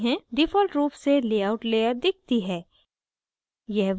default रूप से layout layer दिखती है